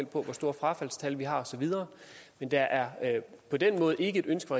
på hvor store frafaldstal vi har og så videre men der er på den måde ikke et ønske